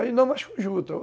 Aí não mais com